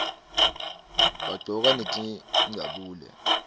baqcoka netincabule